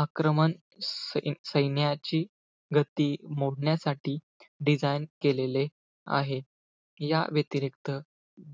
आक्रमण सैन्याची गती मोडण्यासाठी design केलेले आहे. याव्यतिरिक्त,